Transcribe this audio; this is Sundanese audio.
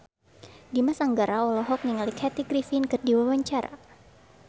Dimas Anggara olohok ningali Kathy Griffin keur diwawancara